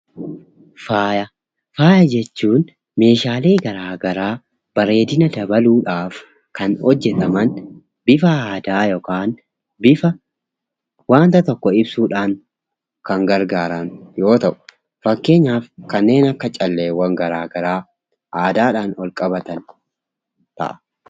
Faayya. Faayya jechuun meeshaalee garaa garaa bareedina dabaluudhaaf kan hojjetaman bifa aadaa ta'een bifa wanta tokko ibsuuf kan gargaaran yoo ta'u; fakkeenyaaf kanneen akka calleewwan garaa garaa aadaadhaan wal qabataniidha.